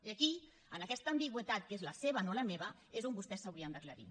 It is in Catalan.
i aquí en aquesta ambigüitat que és la seva no la meva és on vostès s’haurien d’aclarir